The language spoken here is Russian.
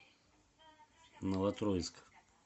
новотроицк